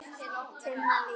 Tinna Líf.